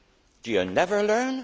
Do you never learn?